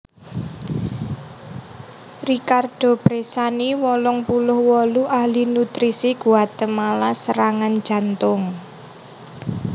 Ricardo Bressani wolung puluh wolu ahli nutrisi Guatemala serangan jantung